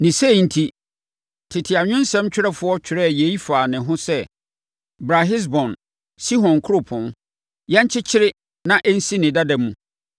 Ne sei enti tete, anwensɛm twerɛfoɔ twerɛɛ yei faa ne ho sɛ, “Bra Hesbon, Sihon kuropɔn, yɛnkyekyere na ɛnsi ne dada mu.